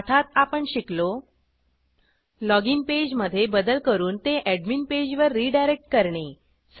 पाठात आपण शिकलो लॉगिन पेज मधे बदल करून ते अॅडमिन पेजवर रिडायरेक्ट करणे